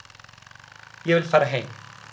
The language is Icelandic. Ég vil fara heim.